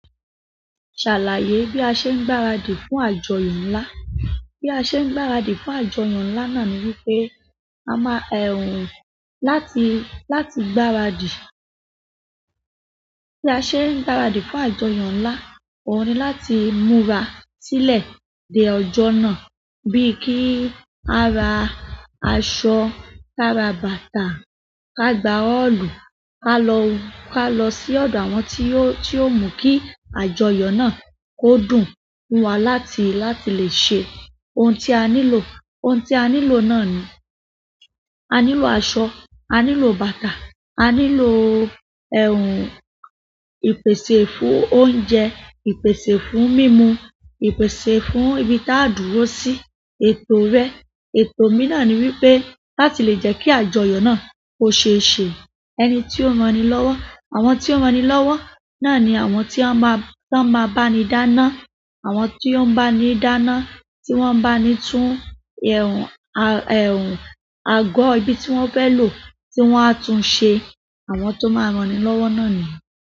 Ṣàlàyé bí a ṣe ń gbaradì fún àjọyọ̀ ńlá. Bí a ṣe ń gbaradì fún àjọyọ̀ ńlá náà ni wípé a máa láti, láti gbáradì. Bí a ṣe ń gbáradì fún àjọyọ̀ ńlá, òhun ni láti múra sílẹ̀ dé ọjọ́ náà bíi kí a ra aṣọ, ká ra bàtà, ká gba ọ́ọ̀lù, ká lọ, ká lọ sí ọ̀dọ̀ àwọn tí ó, tí ó mọ̀ kí àjọyọ̀ náà ó dùn fún wa láti, láti lè ṣe òun tí a nílò. Ohun tí a nílò náà ni, a nílò aṣọ, a nílò bàtà, a nílò ẹ̀hn ìpèsè fún oúnjẹ, ìpèsè fún mímu, ìpèsè fún ibi tí a ó dúró sí, ètò rẹ. Ètò mí náà ni wípé láti lè jẹ́ kí àjọyọ̀ náà ó ṣé ṣe. Ẹni tí ó ran ni lọ́wọ́. Àwọn tí ó ran ni lọ́wọ́ náà ni àwọn tí wọ́n máa, tí wọ́n máa bá ni dáná. Àwọn tí ó ń bá ni dáná, tí wọ́n ń bá ni tún ẹ̀hn, a, ẹ̀hn, àgọ́ ibi tí wọ́n fẹ́ lò, tí wọ́n á tún ṣe. Àwọn tó máa ran ni lọ́wọ́ náà nìyẹn.